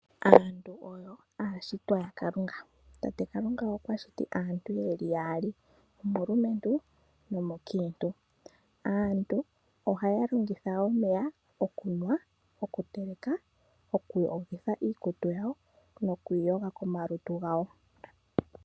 Aantu oyo aashitwa yaKalunga. Tate Kalunga okwa shiti yeli aantu yaali, omulumentu, no mukiintu. Aantu ohaya longitha omeya okunwa, oku teleka, oku yoga iikutu yawo no ku iyoga ko malutu gayo.